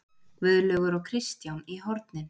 Guðlaugur og Kristján í hornin!